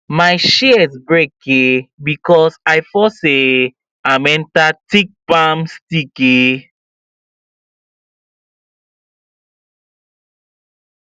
my shears break um because i force um am enter thick palm stick um